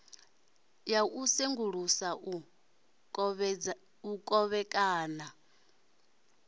ya u sengulusa u kovhekana